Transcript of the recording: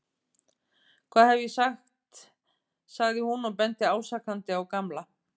Hvað hef ég ekki sagt sagði hún og benti ásakandi á Gamla.